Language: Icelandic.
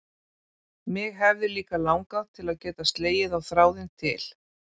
Mig hefði líka langað til að geta slegið á þráðinn til